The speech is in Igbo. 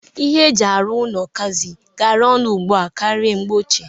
Ihe e ji arụ ụnọ kazi garaa ọnụ ugbu a karịa mgbe ochie.